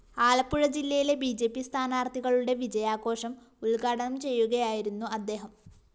ആലപ്പുഴ ജില്ലയിലെ B J P സ്ഥാനാര്‍ത്ഥികളുടെ വിജയാഘോഷം ഉദ്ഘാടനം ചെയ്യുകയായിരുന്നു അദ്ദേഹം